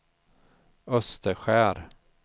Österskär